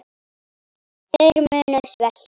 Þeir munu svelta.